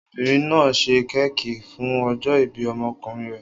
Obìnrin náà ṣe kéékì fún ọjọ́-ìbí ọmọkùnrin rẹ̀.